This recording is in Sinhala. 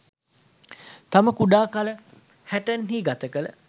තමා කුඩා කල හැටන් හි ගත කළ